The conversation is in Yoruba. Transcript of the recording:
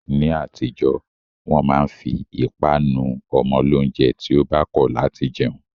Ni atijo, wọn ma n fi ipa nu ọmọ lounjẹ ti o ba kọ lati jẹun